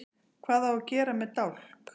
Hvað á að gera með dálk?